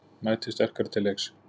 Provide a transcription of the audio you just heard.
Mæti sterkari til leiks